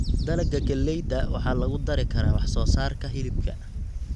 Dalagga galleyda waxaa lagu dari karaa wax soo saarka hilibka.